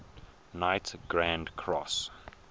knight grand cross